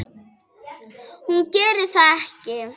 Hún gerir það ekki.